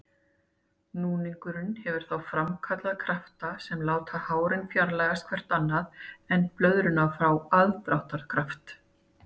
Núningurinn hefur þá framkallað krafta sem láta hárin fjarlægjast hvert annað en blöðruna fá aðdráttarkraft.